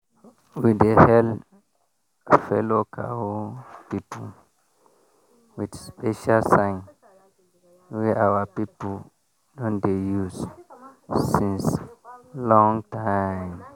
we dey hail fellow cow people with special sign wey our people don dey use since long time.